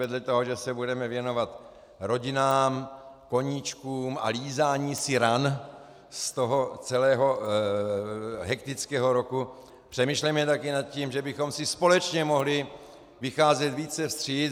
Vedle toho, že se budeme věnovat rodinám, koníčkům a lízání si ran z toho celého hektického roku, přemýšlejme také nad tím, že bychom si společně mohli vycházet více vstříc.